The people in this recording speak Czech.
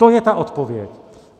To je ta odpověď.